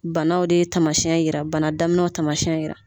Banaw de ye tamasiyɛn yira bana daminɛw tamasiyɛn yira.